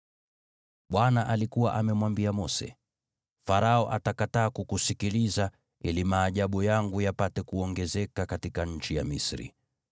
Bwana alikuwa amemwambia Mose, “Farao atakataa kukusikiliza, ili maajabu yangu yapate kuongezeka katika nchi ya Misri.”